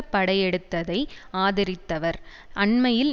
படையெடுத்ததை ஆதரித்தவர் அண்மையில்